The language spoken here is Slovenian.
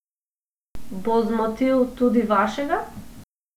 Bo zmotil tudi vašega?